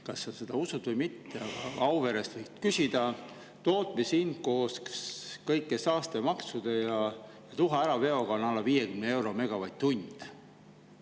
Kas sa seda usud või mitte, Auverest võid küsida, aga tootmishind koos kõigi saastemaksude ja tuha äraveoga on alla 50 euro megavatt-tund.